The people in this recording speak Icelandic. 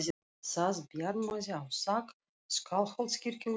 Það bjarmaði á þak Skálholtskirkju í sólinni.